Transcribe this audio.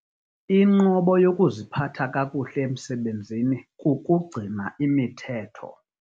Inqobo yokuziphatha kakuhle emsebenzini kukugcina imithetho.